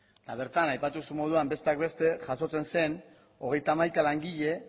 bertan aipatu zuen moduan besteak beste jasotzen zen hogeita hamaika